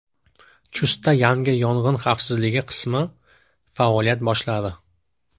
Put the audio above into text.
Chustda yangi yong‘in xavfsizligi qismi faoliyat boshladi.